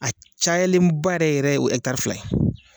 A cayalenba yɛrɛ yɛrɛ o ye hɛkitari fila ye